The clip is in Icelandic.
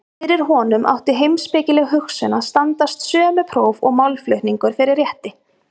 Fyrir honum átti heimspekileg hugsun að standast sömu próf og málflutningur fyrir rétti.